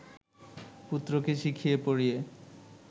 পুত্রকে শিখিয়ে পড়িয়ে